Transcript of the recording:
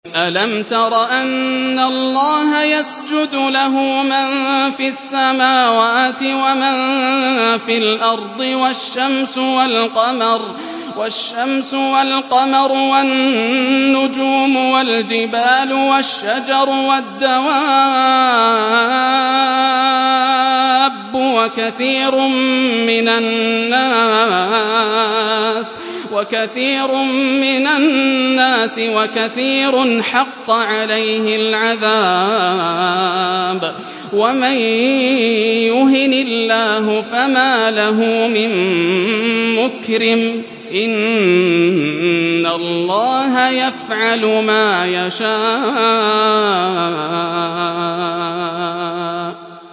أَلَمْ تَرَ أَنَّ اللَّهَ يَسْجُدُ لَهُ مَن فِي السَّمَاوَاتِ وَمَن فِي الْأَرْضِ وَالشَّمْسُ وَالْقَمَرُ وَالنُّجُومُ وَالْجِبَالُ وَالشَّجَرُ وَالدَّوَابُّ وَكَثِيرٌ مِّنَ النَّاسِ ۖ وَكَثِيرٌ حَقَّ عَلَيْهِ الْعَذَابُ ۗ وَمَن يُهِنِ اللَّهُ فَمَا لَهُ مِن مُّكْرِمٍ ۚ إِنَّ اللَّهَ يَفْعَلُ مَا يَشَاءُ ۩